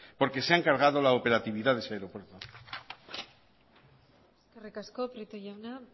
porque se han cargado la operatividad de ese aeropuerto eskerrik asko prieto jauna